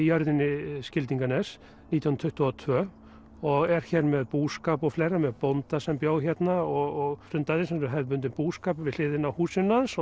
jörðinni Skildinganes nítján hundruð tuttugu og tvö og er hér með búskap og fleira með bónda sem bjó hérna og stundaði hefðbundinn búskap við hliðina á húsinu hans